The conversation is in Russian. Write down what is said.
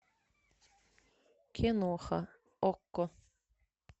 киноха окко